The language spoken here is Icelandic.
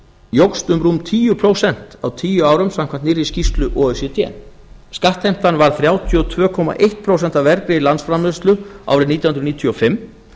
jókst um rúm tíu prósent á tíu árum samkvæmt nýrri skýrslu o e c d skattheimtan var þrjátíu og tvö komma eitt prósent af vergri landsframleiðslu árið nítján hundruð níutíu og fimm